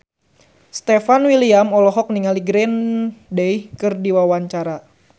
Stefan William olohok ningali Green Day keur diwawancara